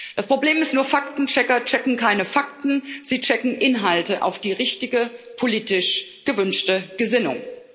Das Problem ist nur Faktenchecker checken keine Fakten, sie checken Inhalte auf die richtige politisch gewünschte Gesinnung.